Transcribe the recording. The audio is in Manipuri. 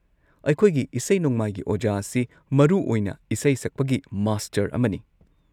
ꯑꯩꯈꯣꯏꯒꯤ ꯏꯁꯩ-ꯅꯣꯡꯃꯥꯏꯒꯤ ꯑꯣꯖꯥ ꯑꯁꯤ ꯃꯔꯨ ꯑꯣꯏꯅ ꯏꯁꯩ ꯁꯛꯄꯒꯤ ꯃꯥꯁꯇꯔ ꯑꯃꯅꯤ꯫